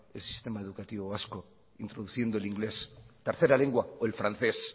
el sistema educativo vasco introduciendo el inglés tercera lengua o el francés